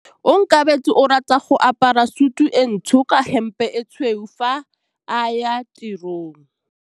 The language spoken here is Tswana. Onkabetse o rata go apara sutu e ntsho ka hempe e tshweu fa a ya tirong.